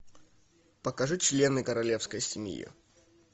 покажи члены королевской семьи